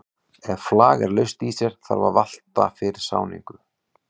Það hefur strengi sem slegið er á með hömrum, en hömrunum er stjórnað af hljómborði.